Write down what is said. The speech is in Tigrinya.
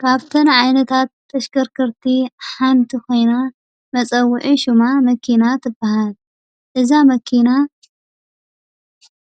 ካብ እተን ዓይነታት ተሽከርከርቲ ሓንቲ ኮይና መፀዊዒ ሽማ መኪና ትባሃል፡፡ እዛ መኪና